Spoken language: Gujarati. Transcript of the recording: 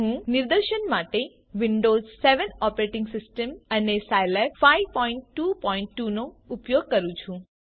હું નિદર્શન માટે વિન્ડોઝ 7 ઓપરેટિંગ સિસ્ટમ અને સાઈલેબ 522 નો ઉપયોગ કરું છું